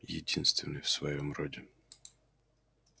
единственный в своём роде